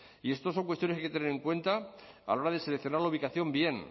y esto son cuestiones que hay que tener en cuenta a la hora de seleccionar la ubicación bien